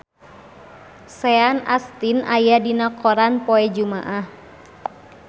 Sean Astin aya dina koran poe Jumaah